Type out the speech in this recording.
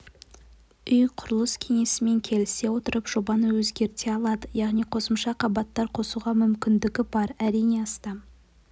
үй-құрылыс кеңесімен келісе отырып жобаны өзгерте алады яғни қосымша қабаттар қосуға мүмкіндігі бар әрине астам